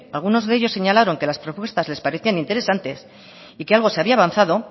algunos de ellos señalaron que las propuestas les parecía interesantes y que algo se había avanzado